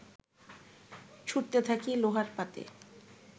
ছুঁড়তে থাকি লোহার পাতে